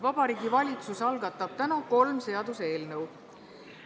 Vabariigi Valitsus algatab täna kolm seaduseelnõu.